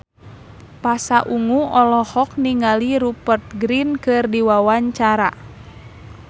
Pasha Ungu olohok ningali Rupert Grin keur diwawancara